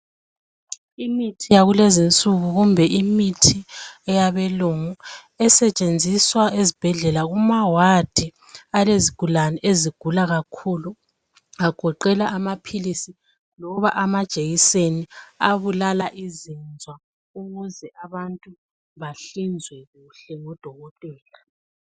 Imithi yakulezinsuku kumbe imithi yabelungu esetshenziswa ezibhedlela kumawadi alezigulane ezigula kakhulu agoqela amaphilisi loba amajekiseni abulala izinzwa ukuze abantu bahlinzwe kuhle ngodokotela.